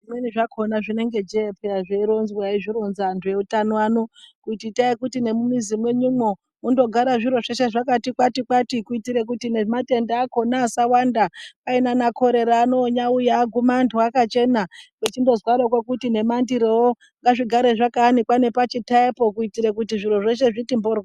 Zvimweni zvakona zvinenge jee peya zveironzwa eizvironza antu eutano ano kuti itai kuti nemumizi mwenyumwo mundogara zviro zveshe zvakati kwati-kwati kuitire kuti nematenda akona asawanda. Dai naana korerawo onyaauya agume antu akachena zvechindozwarwoko kuti nemandirowo ngazvigare zvayanikwa pachitayapo kuitire kuti zviro zveshe zviti mboryo.